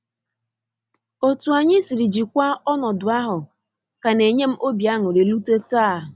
Otu anyi siri jikwa ọnọdụ ahụ ka na enyem obi aṅụrị rute taa